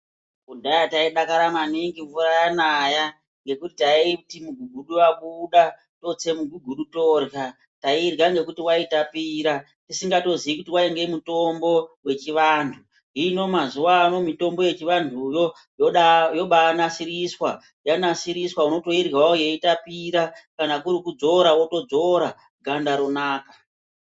Kudhaya taidakara maningi kana mvura yanaya mugugudu totse mugugudu torya tairya ngekuti waitapira tisingatozi kuti wainge mutombo wechivantu hino mazuwa ano mutombo wechivantuwo yobanasiriswa yanasirisiriswa votoiryawo eitapira kana kuri kudzora votodzora ganda ronaka .